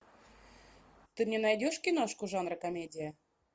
ты мне найдешь киношку жанра комедия